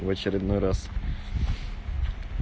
в очередной раз